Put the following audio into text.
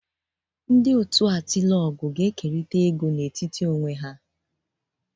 Ndị otu Atilogwu ga-ekerịta ego n'etiti onwe ha